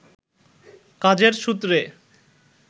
কাজের সূত্রে